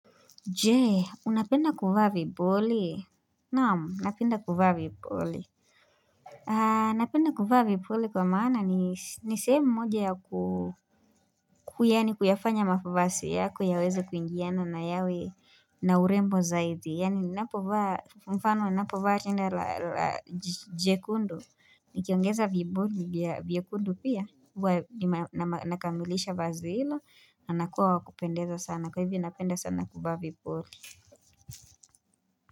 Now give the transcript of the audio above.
Je, unapenda kuvaa vipuli? Naamu, napenda kuvaa vipuli. Napenda kuvaa vipuli kwa maana ni sehemu moja ya kuyafanya mavasi yako yaweze kuingiana na yawe na urembo zaidi. Yaani napovaa, mfano, napovaa rinda la jekundu. Nikiongeza vipuli vya vyekundu pia. Nakamilisha vazi hilo, na nakua wa kupendeza sana, kwa hivo napenda sana kuvaa vipuli.